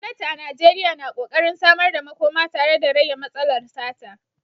Gwamnati a Najeriya na ƙoƙarin samar da makoma tare da rage matsalar sata.